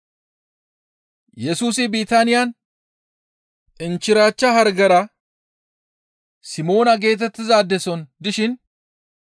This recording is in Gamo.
Yesusi Bitaaniyan inchchirachcha hargera diza Simoona geetettizaade soon dishin,